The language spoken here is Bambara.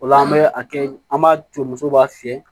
O la an bɛ a kɛ an b'a to musow b'a fiyɛ